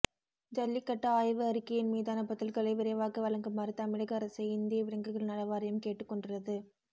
ஜல்லிக்கட்டு ஆய்வு அறிக்கையின் மீதான பதில்களை விரைவாக வழங்குமாறு தமிழக அரசை இந்திய விலங்குகள் நல வாரியம் கேட்டு கொண்டுள்ளது